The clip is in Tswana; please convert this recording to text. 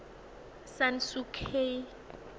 san suu kyi